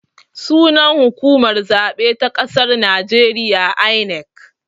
Sunan hukumar zaɓe ta ƙasar najeriya 'I.N.E.C'